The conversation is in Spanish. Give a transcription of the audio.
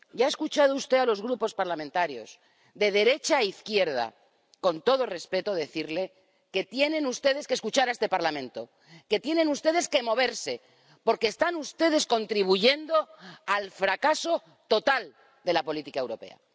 Ya ha escuchado usted a los Grupos parlamentarios, de derecha a izquierda, decirle con todo respeto que tienen ustedes que escuchar a este Parlamento, que tienen ustedes que moverse, porque están ustedes contribuyendo al fracaso total de la política europea.